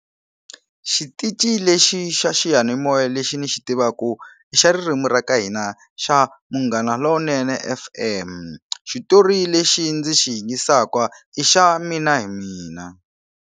Xitici lexi xa xiyanimoya lexi ni xi tivaku xa ririmi ra ka hina xa Munghana lonene F_M xitori lexi ndzi xi yisaka i xa Mina hi mina.